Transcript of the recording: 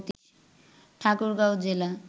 ঠাকুরগাঁও জেলা